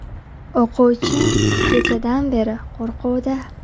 – O‘quvchim kechadan beri qo‘rquvda.